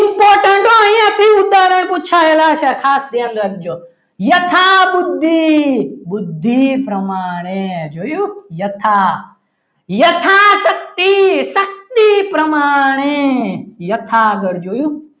તો એ પૂછાય તો ખાસ ધ્યાન રાખજો યથા બુદ્ધિ બુદ્ધિ પ્રમાણે જોયું યથા યથાશક્તિ શક્તિ પ્રમાણે યથાર્થ આગળ જોયું.